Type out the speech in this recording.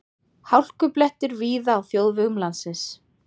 Hálkublettir víða á þjóðvegum landsins